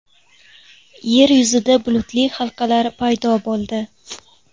Yer yuzida bulutli halqalar paydo bo‘ldi .